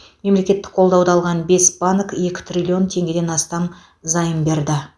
мемлекеттік қолдауды алған бес банк екі триллион теңгеден астам займ берді